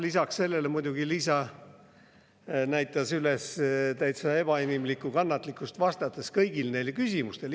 Lisaks sellele muidugi Liisa näitas üles täitsa ebainimlikku kannatlikkust, vastates kõigile neile küsimustele.